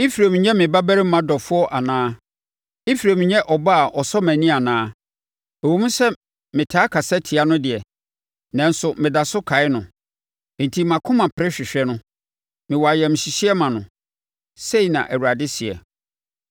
Efraim nyɛ me babarima dɔfoɔ anaa? Efraim nyɛ ɔba a ɔsɔ mʼani anaa? Ɛwom sɛ metaa kasa tia no deɛ, nanso meda so kae no. Enti mʼakoma pere hwehwɛ no; mewɔ ayamhyehyeɛ ma no,” sei na Awurade seɛ.